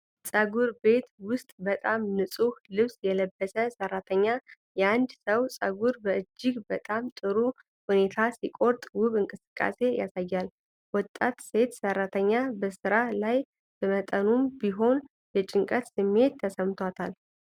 ፀጉር ቤት ውስጥ፣ በጣም ንፁህ ልብስ የለበሰ ሠራተኛ የአንድን ሰው ፀጉር በእጅግ በጣም ጥሩ ሁኔታ ሲቆርጥ ውብ እንቅስቃሴ ያሳያል። ወጣት ሴት ሠራተኛ በስራ ላይ በመጠኑም ቢሆን የጭንቀት ስሜት ተሰምቷታል።